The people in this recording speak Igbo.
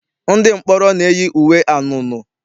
Ndị mkpọrọ na-eyi uwe anunuu.